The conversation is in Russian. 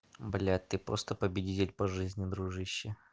блять ты просто победитель по жизни дружище